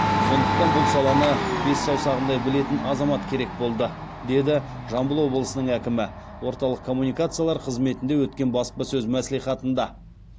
сондықтан бұл саланы бес саусағындай білетін азамат керек болды деді жамбыл обылысының әкімі орталық коммуникациялар қызметінде өткен баспасөз мәслихатында